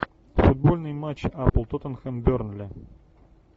футбольный матч апл тоттенхэм бернли